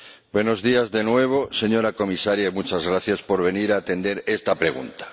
Buenos días, de nuevo, señora Comisaria, y muchas gracias por venir a atender esta pregunta.